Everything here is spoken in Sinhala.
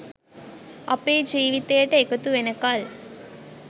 අපේ ජීවිතයට එකතු වෙනකල්